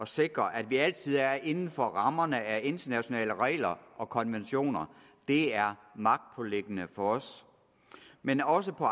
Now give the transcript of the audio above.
sikre at vi altid er inden for rammerne af internationale regler og konventioner det er magtpåliggende for os men også på